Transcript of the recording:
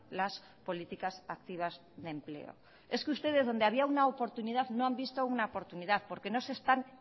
las políticas activas de empleo es que ustedes donde había una oportunidad no han visto una oportunidad porque no se están